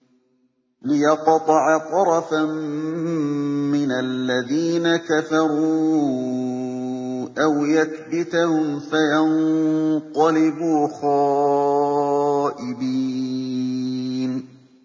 لِيَقْطَعَ طَرَفًا مِّنَ الَّذِينَ كَفَرُوا أَوْ يَكْبِتَهُمْ فَيَنقَلِبُوا خَائِبِينَ